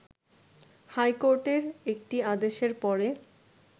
হাইকোর্টের একটি আদেশের পরে